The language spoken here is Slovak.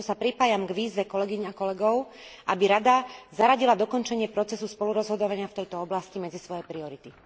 A preto sa pripájam k výzve kolegýň a kolegov, aby Rada zaradila dokončenie procesu spolurozhodovania v tejto oblasti medzi svoje priority.